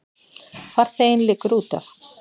Farþeginn liggur útaf.